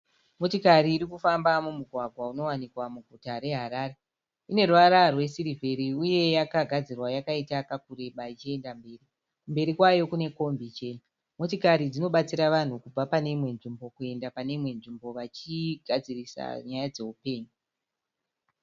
Motikari irikufamba mumugwagwa unowanikwa muguta reHarare. Ine ruvara rwe sirivheri uye yakagadzirwa yakaita kakureba ichiyenda mberi. Mberi kwayo kune kombi chena. Motikari dzimobatsira vanhu kubva paneimwe nzvimbo kuyenda pane imwe nzvimbo vachigadzirisa nyaya dzehupenyu.